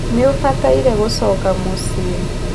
Nĩ ũbataire gũcoka mũciĩ